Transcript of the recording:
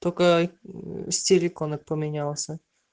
только аа стиль иконок поменялся